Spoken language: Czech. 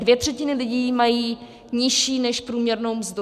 Dvě třetiny lidí mají nižší než průměrnou mzdu.